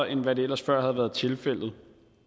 end hvad der ellers før havde været tilfældet